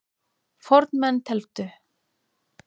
Fornmenn tefldu.